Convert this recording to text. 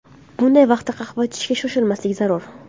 Bunday vaqtda qahva ichishga shoshilmaslik zarur.